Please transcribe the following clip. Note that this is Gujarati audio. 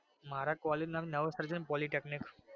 મારા કોલેજ નું નામ નવોસર્જન પોલીટેકનીક.